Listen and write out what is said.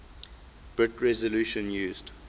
bit resolution used